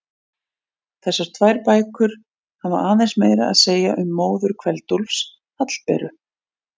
Þessar tvær bækur hafa aðeins meira að segja um móður Kveld-Úlfs, Hallberu.